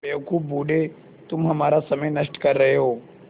बेवकूफ़ बूढ़े तुम हमारा समय नष्ट कर रहे हो